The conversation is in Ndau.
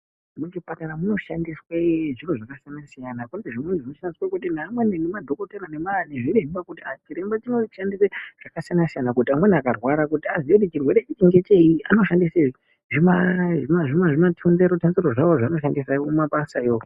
Muzvipatara munoshandiswe zviro zvakasiyana siyana. Kune zvimweni zvinoshandiswa neamweni nemadhokodheya kuti amweni akarwara kuti aziye kuti icho chirwere ngechei vanoshandise zvimathanzero thanzero zvavo zvavanoshandisa kumabasayo.